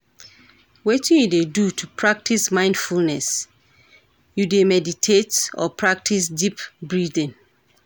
Wetin you dey do to practice mindfulness, you dey meditate or practice deep breathing?